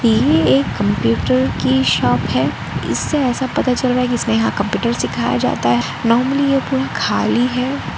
ये एक कंप्यूटर की शॉप है इससे ऐसा पता चल रहा है कि इससे यहां कंप्यूटर सिखाया जाता है नॉर्मली खाली है।